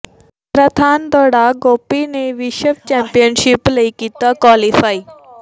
marathon ਦੌੜਾਕ ਗੋਪੀ ਨੇ ਵਿਸ਼ਵ ਚੈਂਪੀਅਨਸ਼ਿਪ ਲਈ ਕੀਤਾ ਕੁਆਲੀਫਾਈ